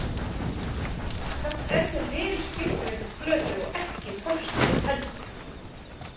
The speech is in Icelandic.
Samt er hér vel skilgreindur flötur og ekki torskilinn heldur.